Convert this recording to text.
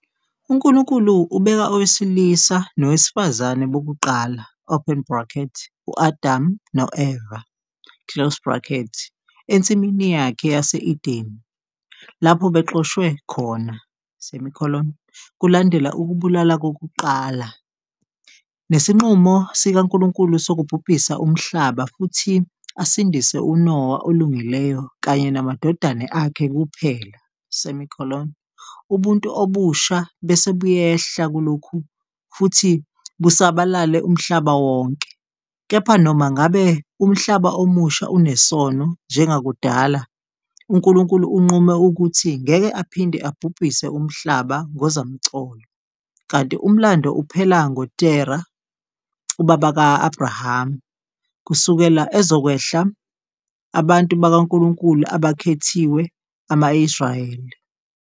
UNkulunkulu ubeka owesilisa nowesifazane bokuqala, u-Adamu no-Eva, eNsimini yakhe yase-Edene, lapho bexoshwe khona, kulandela ukubulala kokuqala, nesinqumo sikaNkulunkulu sokubhubhisa umhlaba futhi asindise uNowa olungileyo kanye namadodana akhe kuphela, ubuntu obusha bese buyehla kulokhu futhi busabalale umhlaba wonke, kepha noma ngabe umhlaba omusha unesono njengakudala, uNkulunkulu unqume ukuthi ngeke aphinde abhubhise umhlaba ngozamcolo, kanti Umlando uphela ngoTerah, ubaba ka-Abrahama, kusukela ozokwehla abantu bakaNkulunkulu abakhethiwe, ama -Israyeli.